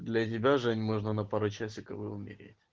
для тебя жень можно на пару часиков и умереть